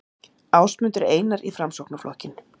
Ásmundur Einar í Framsóknarflokkinn